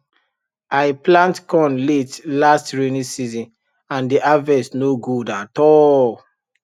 i plant corn late last rainy season and the harvest no good at all